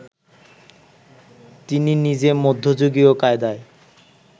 তিনি নিজে মধ্যযুগীয় কায়দায়